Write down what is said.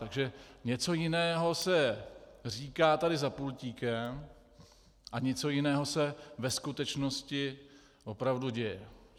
Takže něco jiného se říká tady za pultíkem a něco jiného se ve skutečnosti opravdu děje.